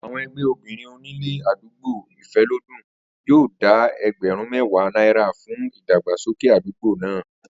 Àwo̩n e̩gbé̩ obìnrin onílé àdúgbò Ìfé̩lódùn yóò dá e̩gbè̩rún mé̩wàá náírà fún ìdàgbàsókè àdúgbò náà